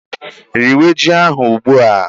Riwé ji ahụ ugbu a!